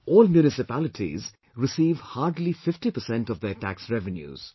All municipalities receive hardly 50% of their tax revenues